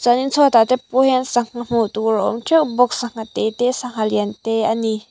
chuanin chhuatah te pawh hian sangha hmuh tur a awm teuh bawk sangha tê te sangha lian te a ni.